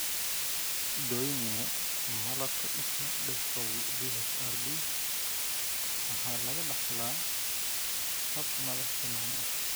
Doyne malabka isha dystrophy (DHRD) waxaa lagu dhaxlaa hab madax-bannaani ah.